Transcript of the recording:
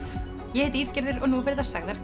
ég heiti Ísgerður og nú verða sagðar